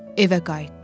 Evə qayıtdı.